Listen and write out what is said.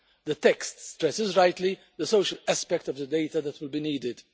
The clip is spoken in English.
The text stresses rightly the social aspect of the data that will be needed.